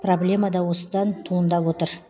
проблема да осыдан туындап отыр